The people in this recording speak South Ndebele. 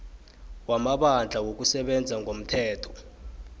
wamabandla wokusebenza ngomthetho